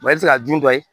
i bɛ se ka jun dɔ ye